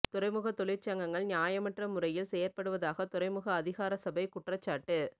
துறைமுக தொழிற் சங்கங்கள் நியாயமற்ற முறையில் செயற்படுவதாக துறைமுக அதிகாரசபை குற்றச்சாட்டு